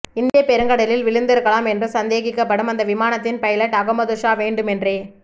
இந்தியப் பெருங்கடலில் விழுந்திருக்கலாம் என்று சந்தேகிக்கப்படும் அந்த விமானத்தின் பைலட் அகமது ஷா வேண்டுமென்றே